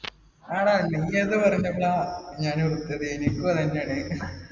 ആണാ എനിക്കു അതന്നെയാണ്